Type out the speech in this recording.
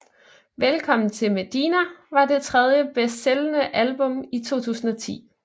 Velkommen til Medina var det tredje bedst sælgende album i 2010